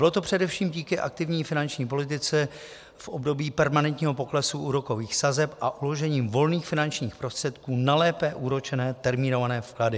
Bylo to především díky aktivní finanční politice v období permanentního poklesu úrokových sazeb a uložením volných finančních prostředků na lépe úročené termínované vklady.